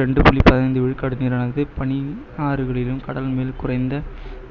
ரெண்டு புள்ளி பதினைந்து விழுக்காடு நீரானது பனியும், ஆறுகளிலும் கடல் மேல் உறைந்த